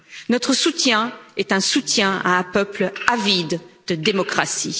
Notre soutien est un soutien à un peuple avide de démocratie.